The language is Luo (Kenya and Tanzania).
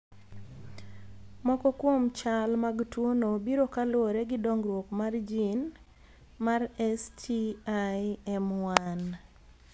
Moko kuom chal mag tuo no biro kaluwore gi dongruok mar gin mar STIM1